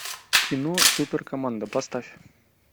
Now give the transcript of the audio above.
кино суперкоманда поставь